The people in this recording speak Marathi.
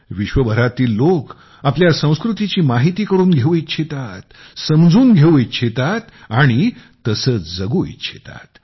जगभरातील लोक आपल्या संस्कृतीची माहिती करून घेऊ इच्छितात समजून घेऊ इच्छितात आणि तसे जगू इच्छितात